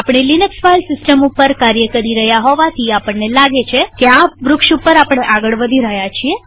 આપણે Linux file system ઉપર કાર્ય કરી રહ્યા હોવાથી આપણને લાગે છે કે આ વૃક્ષટ્રી ઉપર આપણે આગળ વધી રહ્યા છીએ